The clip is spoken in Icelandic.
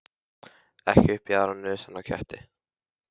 Ekki upp í aðra nösina á ketti.